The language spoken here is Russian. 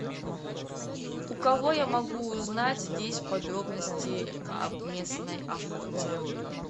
у кого я могу узнать здесь подробности об местной охоте